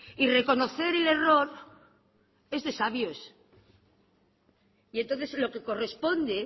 y reconocer el error es de sabios y entonces lo que corresponde